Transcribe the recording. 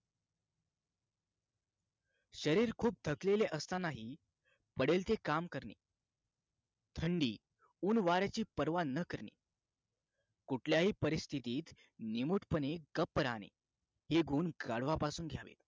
शरीर खूप थकले असतानाही पडेल ते काम करणे थंडी ऊन वाऱ्याची परवा न करणे कुठल्याही परिस्थितीत निमुटपणे गप राहणे हे गुण गाढवापासून घ्यावे